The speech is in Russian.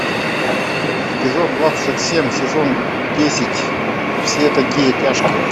эпизод двадцать семь сезон десять все такие тяжкие